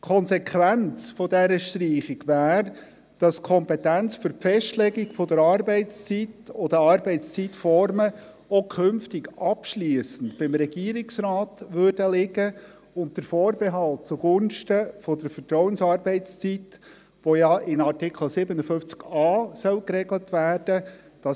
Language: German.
Die Konsequenz dieser Streichung wäre, dass die Kompetenz für die Festlegung der Arbeitszeit und der Arbeitszeitformen auch künftig abschliessend beim Regierungsrat liegt, unter Vorbehalt zugunsten der Vertrauensarbeitszeit, die in Artikel 57a geregelt werden soll.